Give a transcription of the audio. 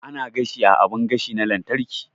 Ana gashi a abun gashi na lantarki